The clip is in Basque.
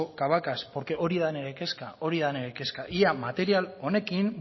cabacas hori da nire kezka ea material honekin